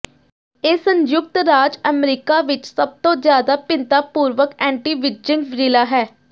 ਇਹ ਸੰਯੁਕਤ ਰਾਜ ਅਮਰੀਕਾ ਵਿੱਚ ਸਭਤੋਂ ਜਿਆਦਾ ਭਿੰਨਤਾ ਪੂਰਵਕ ਐਂਟੀਵਿਜਿੰਗ ਜ਼ਿਲ੍ਹਾ ਹੈ